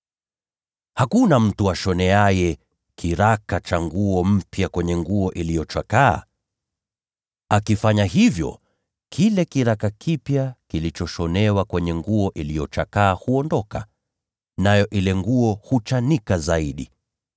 “Hakuna mtu ashoneaye kiraka cha nguo mpya kwenye nguo iliyochakaa. Akifanya hivyo, kile kiraka kipya kitachanika kutoka ile nguo iliyochakaa, nayo itachanika zaidi.